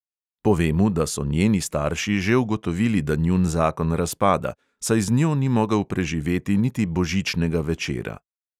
Pove mu, da so njeni starši že ugotovili, da njun zakon razpada, saj z njo ni mogel preživeti niti božičnega večera.